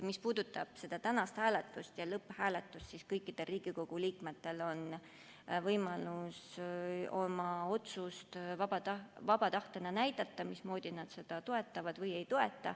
Mis puudutab tänast hääletust ja lõpphääletust, siis kõikidel Riigikogu liikmetel on võimalus oma otsust vaba tahtena näidata, kas nad seda toetavad või ei toeta.